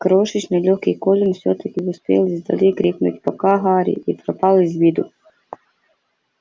крошечный лёгкий колин всё-таки успел издали крикнуть пока гарри и пропал из виду